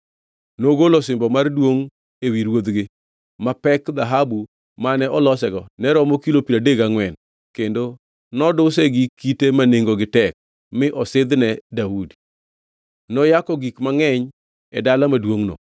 Nogolo osimbo mar duongʼ ewi ruodhgi, ma pek dhahabu mane olosego ne romo kilo piero adek gangʼwen kendo noduse gi kite ma nengogi tek mi osidhne Daudi. Noyako gik mangʼeny e dala maduongʼno